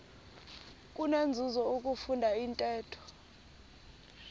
kunenzuzo ukufunda intetho